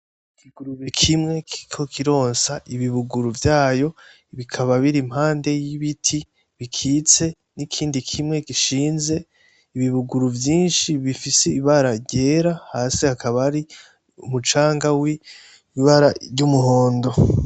Ikigurube kimwe kiriko kironsa ibibuguru vyayo bikababa biri impande y'ibiti bikitse nikindi kimwe gishinze. Ibibuguru vyinshi bifise ibara ryera hasi hakaba hari umucanga w'ibara ry'umuhondo.